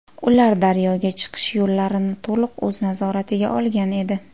Ular daryoga chiqish yo‘llarini to‘liq o‘z nazoratiga olgan edi.